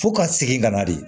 Fo ka segin ka na de